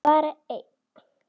Bara einn.